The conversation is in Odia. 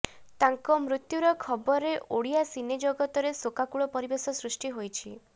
ତାଙ୍କ ମୃତୁ୍ୟ ଖବରରେ ଓଡ଼ିଆ ସିନେ ଜଗତରେ ଶୋକାକୁଳ ପରିବେଶ ସୃଷ୍ଟି କରିଛି